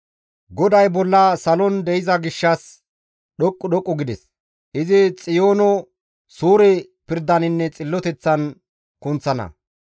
GODAY bolla salon de7iza gishshas, dhoqqu dhoqqu gides; izi Xiyoono suure pirdaninne xilloteththan kunththana.